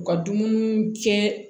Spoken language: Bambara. U ka dumuni kɛ